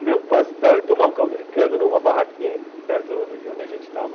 Comer um pastel e tomar um caldo de cana numa barraquinha perto de onde a gente estava.